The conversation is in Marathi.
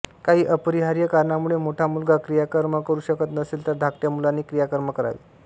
काही अपरिहार्य कारणामुळे मोठा मुलगा क्रियाकर्म करू शकत नसेल तर धाकट्या मुलाने क्रियाकर्म करावे